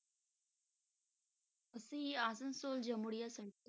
ਅਸੀਂ ਆਸਾਮ ਤੋਂ